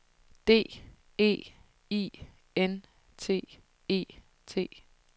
D E I N T E T